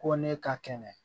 Ko ne ka kɛnɛ